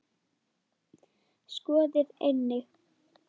Skoðið einnig